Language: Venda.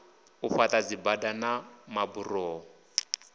u fhaḓa dzibada na maburoho